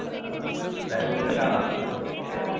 ആഹ്. എന്തായാലും വീണ്ടും കാണാം. ശെരീന്നാ.